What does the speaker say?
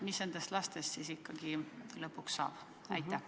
Mis nendest lastest siis ikkagi lõpuks saab?